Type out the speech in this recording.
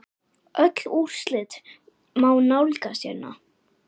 Öll úrslit má nálgast hérna.